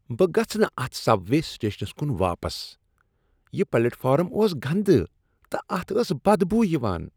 بہٕ گژھہٕ نہ اتھ سب وے سٹیشنس کن واپس ۔ یِہ پلیٹ فارم اوٚس گندٕ، تہٕ اتھ ٲس بدبو یوان ۔